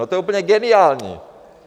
No, to je úplně geniální!